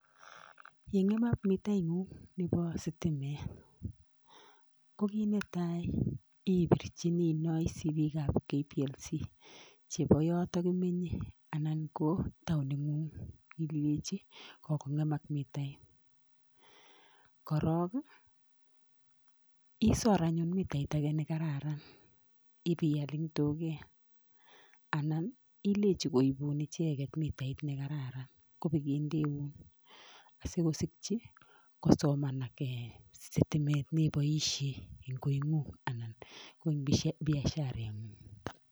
Yeng'emak mitait ng'ung' nepo sitimet ko kiit netai ipirchini inoisi piik ab KPLC chepo yotok imenye anan ko taunit ng'ung' imwachi kogong'emak mitait, korok isor anyun mitait age nekararan ipial eng' duket anan ilechi koipun icheket mitait nekararan kopigendeun asikosikchi kosomanak sitimet nepoishe eng' koi ng'ung' anan ko ing' biasharet ng'ung'.